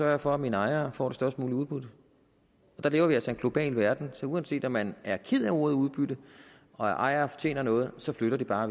jeg for at mine ejere får det størst mulige udbytte der lever vi altså i en global verden så uanset om man er ked af ordet udbytte og af at ejere tjener noget så flytter de bare